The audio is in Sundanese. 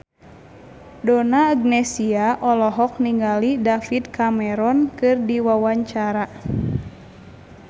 Donna Agnesia olohok ningali David Cameron keur diwawancara